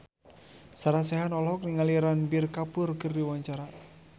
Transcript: Sarah Sechan olohok ningali Ranbir Kapoor keur diwawancara